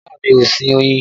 Rárá bàbá mi ò sin oyin